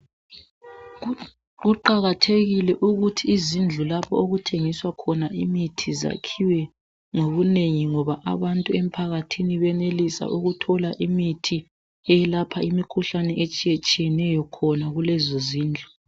Kuqakathekile ukuthi izindlu lapho okuthengiswa khona imithi zakhiwe ngobunengi ngoba abantu emphakathini benelisa ukuthola imithi eyelapha imikhuhlane etshiyetshiyeneyo khona kulezozindlu.